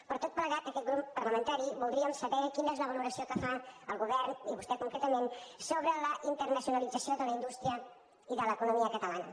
per tot plegat aquest grup parlamentari voldríem saber quina és la valoració que fa el govern i vostè concretament sobre la internacionalització de la indústria i de l’economia catalana